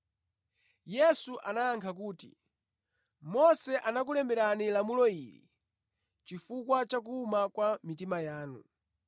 Yesu anayankha kuti, “Mose anakulemberani lamulo ili chifukwa chakuwuma kwa mitima yanu.